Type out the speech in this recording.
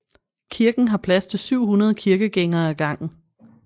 Kirken har plads til 700 kirkegængere ad gangen